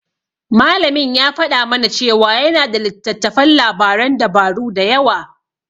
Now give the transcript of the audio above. Malamin ya faɗa mana cewa yana da littattafan labaran dabaru da yawa.